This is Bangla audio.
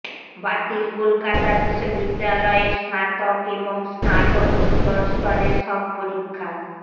বাতিল কলকাতা বিশ্ববিদ্যালয়ের স্নাতক এবং স্নাতকোত্তর স্তরের সব পরীক্ষা